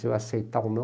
aceitar ou não,